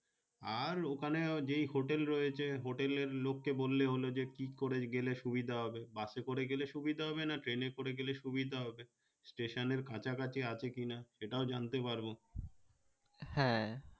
আর ওখানে যে hotel রয়েছে hotel এর লোক কে বলেই হলো যে কি করে গেলে সুভিধা হবে বাস এ করে গালে সুবিধা হবে না train এ করে গেলে সুবিধা হবে station এর কাঁচা কাঁচি আছে কি না সেটাও জানতে পারবো হ্যাঁ